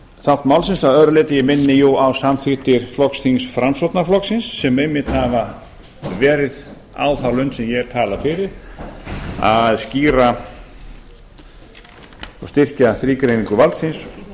þátt málsins að öðru leyti en ég minni á samþykktir flokksþings framsóknarflokksins sem einmitt hafa verið á þá lund sem ég hef talað fyrir að skýra og styrkja þrígreiningu valdsins